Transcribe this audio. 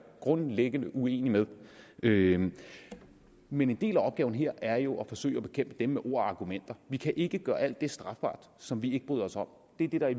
grundlæggende uenig med men en del af opgaven her er jo at forsøge at bekæmpe dem med ord og argumenter vi kan ikke gøre alt det strafbart som vi ikke bryder os om det er det der i